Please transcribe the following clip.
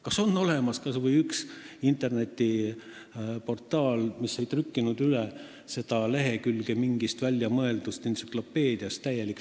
Kas on olemas kas või üks internetiportaal, kus ei trükitud ära seda lehekülge väljamõeldud entsüklopeediast?